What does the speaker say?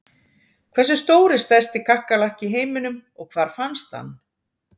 Hversu stór er stærsti kakkalakki í heiminum og hvar fannst hann?